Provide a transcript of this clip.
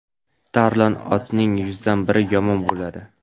tarlon otning yuzdan biri yomon bo‘ladi.